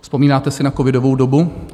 Vzpomínáte si na covidovou dobu?